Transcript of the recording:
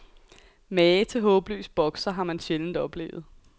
Mage til håbløs bokser har man sjældent oplevet.